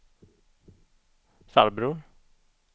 farbror